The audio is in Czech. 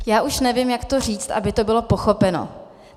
Já už nevím, jak to říct, aby to bylo pochopeno.